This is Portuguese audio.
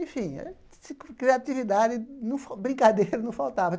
Enfim, criatividade não fal, brincadeira não faltava.